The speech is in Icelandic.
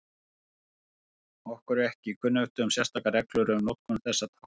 Okkur er ekki kunnugt um sérstakar reglur um notkun þessa tákns.